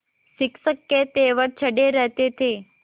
शिक्षक के तेवर चढ़े रहते थे